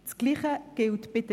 Das Gleiche gilt für